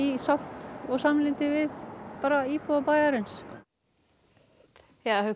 sátt og samlyndi við íbúa bæjarins jæja Haukur